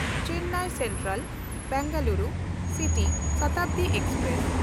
Chennai Central-Bengaluru city Shatabdi express